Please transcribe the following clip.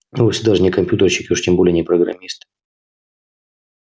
и вовсе даже не компьютерщик и уж тем более не программист